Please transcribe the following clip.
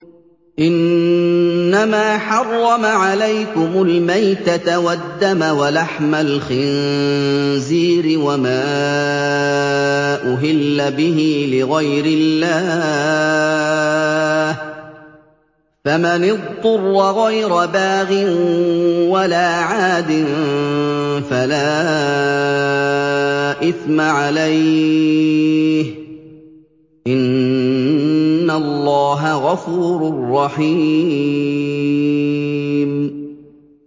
إِنَّمَا حَرَّمَ عَلَيْكُمُ الْمَيْتَةَ وَالدَّمَ وَلَحْمَ الْخِنزِيرِ وَمَا أُهِلَّ بِهِ لِغَيْرِ اللَّهِ ۖ فَمَنِ اضْطُرَّ غَيْرَ بَاغٍ وَلَا عَادٍ فَلَا إِثْمَ عَلَيْهِ ۚ إِنَّ اللَّهَ غَفُورٌ رَّحِيمٌ